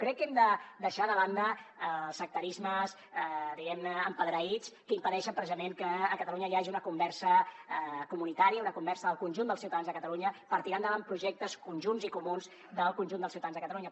crec que hem de deixar de banda els sectarismes diguem ne empedreïts que impedeixen precisament que a catalunya hi hagi una conversa comunitària una conversa del conjunt dels ciutadans de catalunya per tirar endavant projectes conjunts i comuns del conjunt dels ciutadans de catalunya